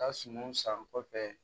Ka sumaw san kɔfɛ